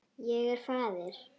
Ég er faðir.